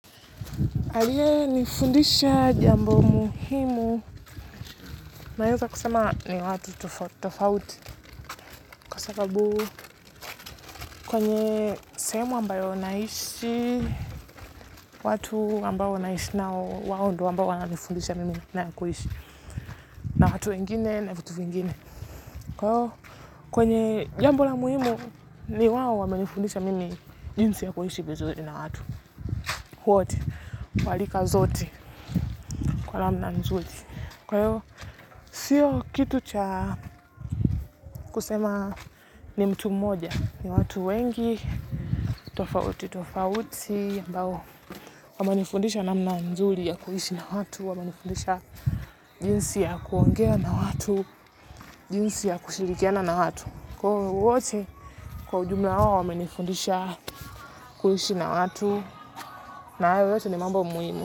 Aliye nifundisha jambo muhimu naweza kusema ni watu tofauti tofauti kwa sababu kwenye sehemu ambayo naishi watu ambao naishi nao wao ndo ambao wananifundisha mimi nakuishi na watu wengine na vitu vingine kwenye jambo la muhimu ni wawo wame nifundisha mimi jinsi ya kuishi vizuri na watu wote walika zote kwa namna nzuri kwahiyo sio kitu cha kusema ni mtu mmoja, ni watu wengi, tofauti, tofauti, ambao wamenifundisha namna nzui ya kuhishi na watu, wamenifundisha jinsi ya kuongea na watu, jinsi ya kushirikiana na watu. Kwa hiyo wote kwa ujumla wamenifundisha kuhishi na watu, na ayo yote ni mambo muimu.